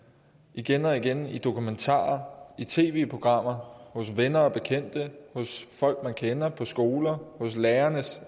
igen og igen i dokumentarer i tv programmer hos venner og bekendte hos folk man kender på skoler og hos lærerne